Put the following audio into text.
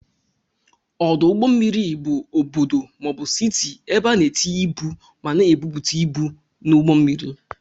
Ọdụ ụgbọ mmiri bụ ọbọdọ maọbu Citi ebe ana etinye ịbụ ma na ebupute ịbụ n'ugbó mmiri.